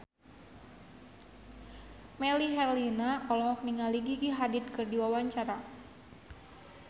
Melly Herlina olohok ningali Gigi Hadid keur diwawancara